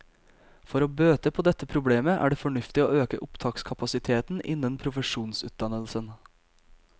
For å bøte på dette problemet er det fornuftig å øke opptakskapasiteten innen profesjonsutdannelsen.